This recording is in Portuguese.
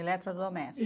Eletrodoméstico? E